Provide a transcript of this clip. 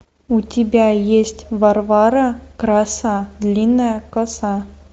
у тебя есть варвара краса длинная коса